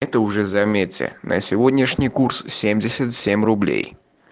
это уже заметил на сегодняшний курс семьдесят семь руб